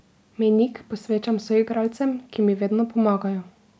Mejnik posvečam soigralcem, ki mi vedno pomagajo.